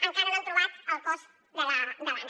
encara no han trobat el cos de l’anna